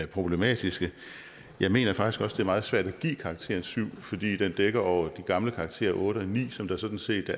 problematiske jeg mener faktisk også meget svært at give karakteren syv fordi den dækker over de gamle karakterer otte og ni som der sådan set